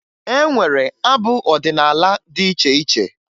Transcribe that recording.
E nwere abụ ọdịnaala dị iche iche